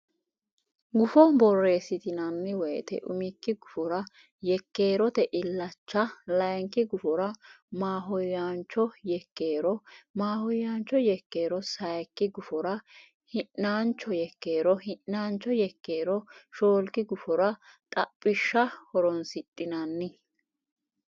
Gufo borreessitinanni woyte umikki gufora yekkeerote illacha layinki gufora maahoyyaancho yekkeero maahoyyaancho yekkeero Sayikki gufora hi naancho yekkeero hi naancho yekkeero shoolki gufora xaphishsha horonsidhinanni.